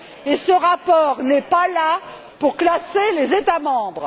et ce rapport n'est pas là pour classer les États membres.